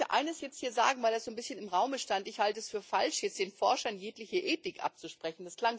Ich möchte eines jetzt hier sagen, weil das so ein bisschen im Raume stand Ich halte es für falsch, den Forschern jegliche Ethik abzusprechen.